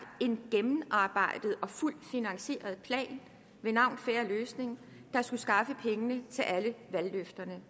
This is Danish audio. en gennemarbejdet og fuldt finansieret plan ved navn en fair løsning der skulle skaffe pengene til alle valgløfterne